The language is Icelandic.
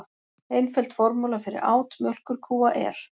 Einföld formúla fyrir át mjólkurkúa er: